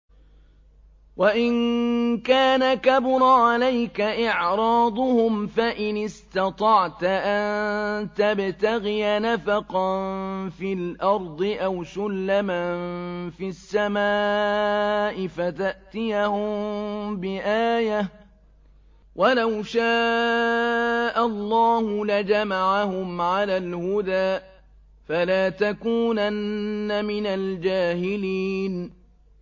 وَإِن كَانَ كَبُرَ عَلَيْكَ إِعْرَاضُهُمْ فَإِنِ اسْتَطَعْتَ أَن تَبْتَغِيَ نَفَقًا فِي الْأَرْضِ أَوْ سُلَّمًا فِي السَّمَاءِ فَتَأْتِيَهُم بِآيَةٍ ۚ وَلَوْ شَاءَ اللَّهُ لَجَمَعَهُمْ عَلَى الْهُدَىٰ ۚ فَلَا تَكُونَنَّ مِنَ الْجَاهِلِينَ